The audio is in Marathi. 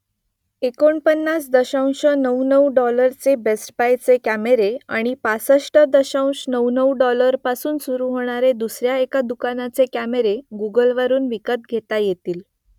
एकोणपन्नास दशांश नऊ नऊ डॉलरचे बेस्ट बायचे कॅमेरे आणि पासष्ट दशांश नऊ नऊ डॉलरपासून सुरू होणारे दुसऱ्या एका दुकानाचे कॅमेरे गुगलवरून विकत घेता येतील